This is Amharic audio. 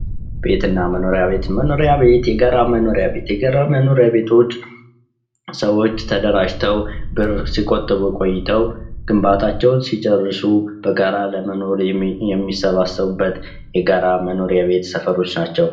ቤትና መኖሪያ ቤት የጋራ መኖሪያ ቤቶች ሰዎች ተደራጅተው ብር ሲቆጥቡ ቆይተው ግንባታቸውን ሲጨርሱ በጋራ ለመኖር የሚሰባሰቡበት የጋራ መኖሪያ ቤት ሰፈሮች ናቸው።